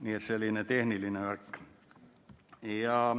Nii et selline tehniline värk.